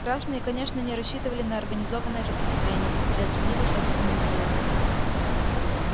красные конечно не рассчитывали на организованное сопротивление и переоценили собственные силы